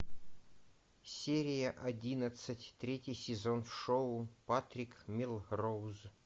серия одиннадцать третий сезон в шоу патрик мелроуз